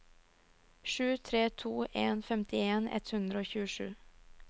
sju tre to en femtien ett hundre og tjuesju